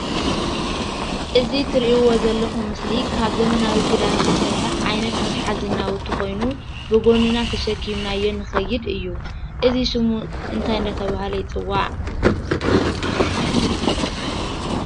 እዚ እትርእይዎ ዘለኹም ምስሊ ካብ ዘመናዊ ክዳን ዝተሰሪሐ ዓይነት መትሐዚ ናዉቲ ኮይኑ ብጎንና ተሰኪምናዮ ንኸይድ እዩ። እዚ ሽሙ እንታይ እናተብሃለ ይፅዋዕ?